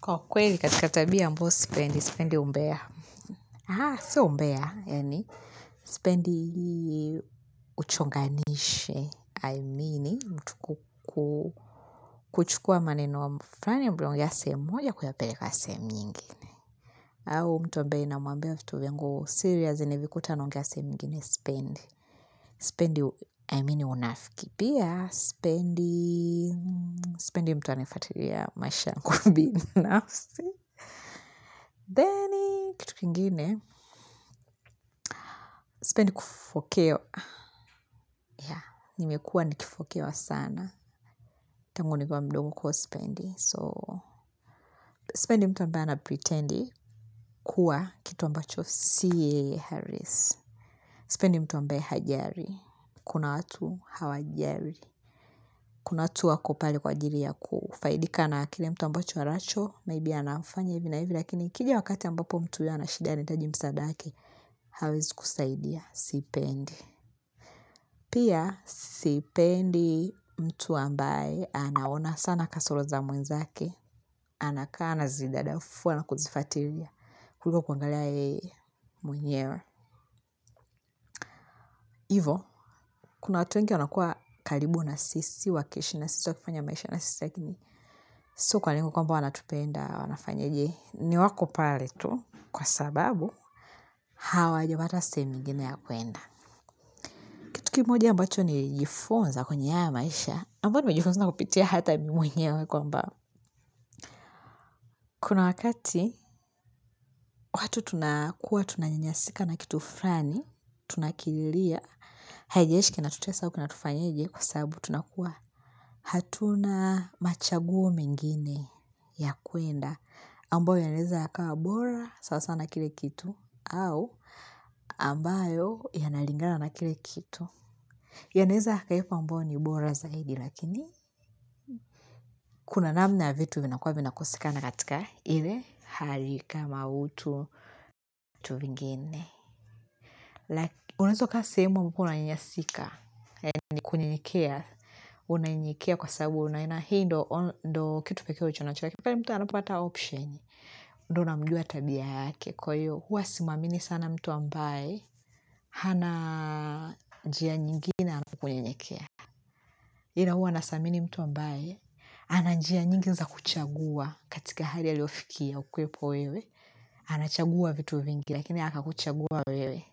Kwa kweli katika tabia ambayo sipendi, sipendi umbeya. Haa, si umbeya, yani. Sipendi uchonganishi, I mean, mtu kuchukua maneno flani ambayo mliongea sehemu moja kuyapeleka sehemu nyingine. Au mtu ambaye na mwambia vitu vyangu, serious nivikute anaongea sehemu nyingine sipendi. Sipendi, I mean, unafiki pia, sipendi, sipendi mtu aniyefuatilia maisha yangu binafsi. Then kitu kingine Sipendi kufokewa ya, nimekua nikifokewa sana Tanguni kiwa mdogo kwa iyosipendi So, sipendi mtu ambaye anapretendi Kua kitu ambacho Si yeye halisi Sipendi mtu ambaye hajali Kuna watu hawajari Kuna watu wakopale kwa ajili ya kufaidika na kile mtu ambacho haracho Maybe anafanya hivi na hivi lakini ikija wakati ambapo mtu huyu anashida anahitaji msaadake, hawezi kusaidia Sipendi Pia, sipendi mtu ambaye anaona sana kasoro za mwenza ake, anakaa ana zidadafua na kuzifatilia, kuliko kuangalia yeye mwenyewe. Ivo, kuna watu wengi wanakua karibu na sisi, wakiishi na sisi wa wakifanya maisha na sisi ya lakini, sio kwa lengo kwamba wanatupenda, wanafanya jee, ni wako pale tu, kwa sababu, hawa japata sehemu nyingine ya kwenda. Kitu kimoja ambacho nilijifunza kwenye haya maisha, ambayo nimejifunza kupitia hata mwenyewe kwa mba. Kuna wakati, watu tunakua tunanyanyasika na kitu flani, tunakililia, haijalishiki na tutesa aukinatufanyeje kwa sabu tunakuwa. Hatuna machaguo mengine ya kwenda, ambayo ya naweza yakawa bora, sasa na kile kitu, au ambayo ya nalingana na kile kitu. Ya naeza yakaekwa ambayo ni bora zaidi lakini kuna namna vitu vinakuwa vinakoseka na katika ile hali kama utu vitu vingine. Laki unaezakaa sehemu ambapouna nyanyasika, yani kunyenyekea, unayenyekea kwa sabu unaona hii ndo kitu pekee ulichonacho lakini. Pale mtu anapopata option, ndo unamujua tabia yake kwa hiyo hua simwamini sana mtu ambaye hana njia nyingine anaponyenyekea. Ila huwa nasamini mtu ambaye, ananjia nyingi za kuchagua katika hali a liyofikia ukiwepo wewe, anachagua vitu vingi, lakini aka kuchagua wewe.